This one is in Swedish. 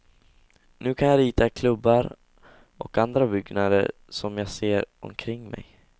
Nu kan jag rita klubbar och andra byggnader som jag ser omkring mig.